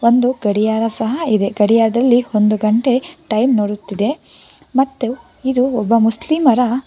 ಒಂದು ಗಡಿಯಾರ ಸಹ ಇದೆ ಗಡಿಯಾರದಲ್ಲಿ ಒಂದು ಗಂಟೆ ಟೈಮ್ ನೋಡುತ್ತಿದೆ ಮತ್ತು ಇದು ಒಬ್ಬ ಮುಸ್ಲಿಮರ--